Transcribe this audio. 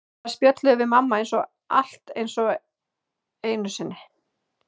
Þar spjöllum við mamma eins og allt sé eins og einu sinni.